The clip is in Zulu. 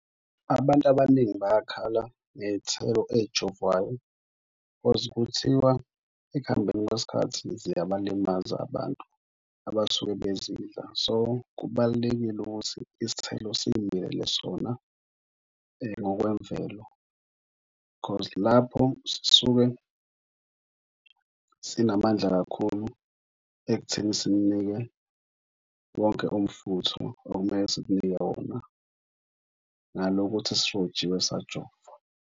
Abantu abaningi bayakhala ngey'thelo ey'jovwayo because kuthiwa ekuhambeni kwesikhathi ziyabalimaza abantu abasuke bezidla. So, kubalulekile ukuthi isithelo siy'milele sona ngokwemvelo because lapho sisuke sinamandla kakhulu ekutheni simunike wonke umfutho okumele simunike wona ngale kokuthi sirojiwe sajovwa.